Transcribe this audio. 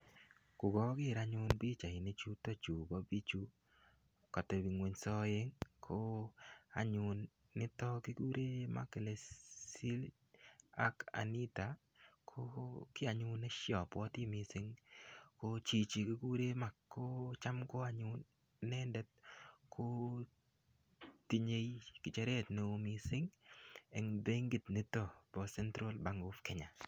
Kokoker anyun pichainichu bo bichu Katebso ngwony aeng anyun kekuren mark lesin ak Anita ko ki anyun abwati mising chichi kikuren mark ko anyun inendet ko tinye ngecheret neo mising en benkit neo nebo central bank nebo Kenya